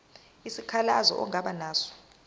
isikhalazo ongaba naso